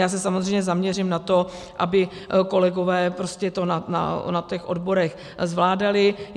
Já se samozřejmě zaměřím na to, aby kolegové to na těch odborech zvládali.